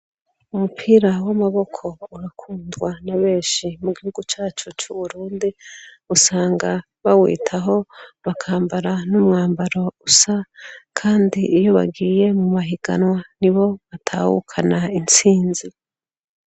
Umupira w'amaboko urakundwa nabeshi, mugihugu cacu c'uburundi, usanga bawitaho bakambara n'umwambaro usa kandi iyo bagiye mumahiganwa nibo batahukana intsinzi.